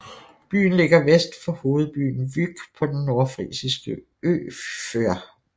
Byen ligger vest for hovedbyen Vyk på den nordfrisiske ø Før